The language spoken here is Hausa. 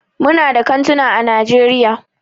Muna da kantuna ã Najeriya.